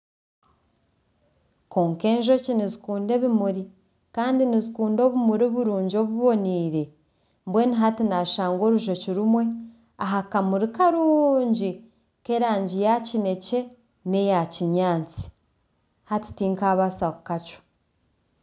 Kwonka enjoki nizikunda ebimuri kandi nizikunda obumuri burungi obuboniire. Mbwenu hati naashanga orujoki rumwe aha kamuri karungi k'erangi ya kinekye n'eya kinyaatsi. Hati tinkabaasa kukacwa.